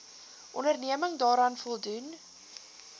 onderneming daaraan voldoen